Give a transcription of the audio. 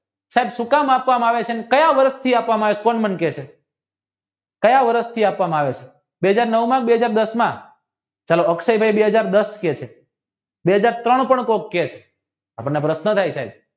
સુ કામ આપવમાં આવે છે અને કાયા વર્ષ માંથી આપવામાં આવે છે કોણ મને કેસે કયા વર્ષથી આપવામાં આવે છે બે હાજર નવ માં કે બે હાજર દસ માં ચાલી અક્ષય છે એ બે હાજર દસમા કહે છે બે હાજર ત્રણ પણ કોક કહે છે આ બડઝા પ્રશ્ન થયા